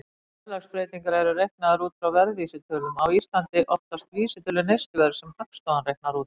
Verðlagsbreytingar eru reiknaðar út frá verðvísitölum, á Íslandi oftast vísitölu neysluverðs sem Hagstofan reiknar út.